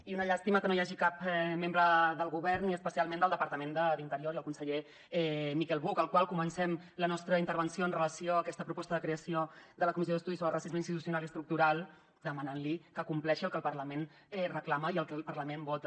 i una llàstima que no hi hagi cap membre del govern i especialment del departament d’interior i el conseller miquel buch al qual comencem la nostra intervenció amb relació a aquesta proposta de creació de la comissió d’estudi sobre racisme institucional i estructural demanant li que compleixi el que el parlament reclama i el que el parlament vota